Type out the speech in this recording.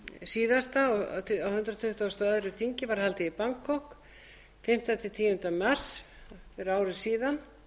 síðasta á hundrað tuttugasta og öðru þingi var haldið í bangkok fimmta til tíunda mars fyrir ári síðan